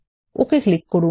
ওকে click করুন